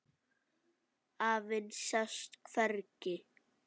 Afinn sást hvergi.